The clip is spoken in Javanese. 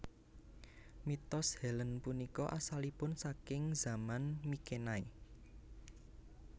Mitos Helene punika asalipun saking Zaman Mykenai